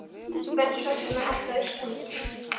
Hvers vegna ertu á Íslandi?